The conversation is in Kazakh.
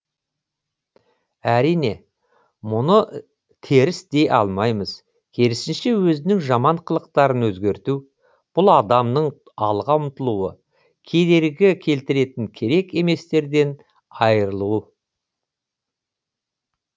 әрине мұны теріс дей алмаймыз керісінше өзінің жаман қылықтарын өзгерту бұл адамның алға ұмтылуы кедергі келтіретін керек еместерден айырылуы